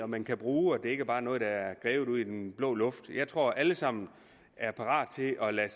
man kan bruge og er ikke bare noget der er grebet ud af den blå luft jeg tror at alle sammen er parate til at lade